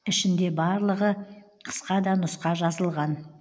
ішінде барлығы қысқа да нұсқа жазылған